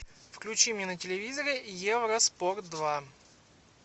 включи мне на телевизоре евроспорт два